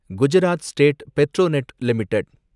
Gujarat state Petronet limited